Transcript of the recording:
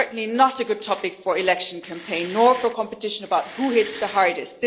It is certainly not a good topic for an election campaign, nor for a competition about who hits the hardest.